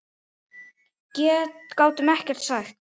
Gátum ekkert sagt.